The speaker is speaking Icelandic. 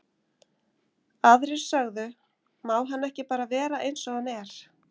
Aðrir sögðu, má hann ekki bara vera eins og hann er?